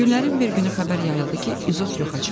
Günlərin bir günü xəbər yayıldı ki, izot yoxa çıxıb.